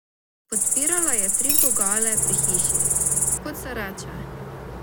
Podpirala je tri vogale pri hiši, kot se reče.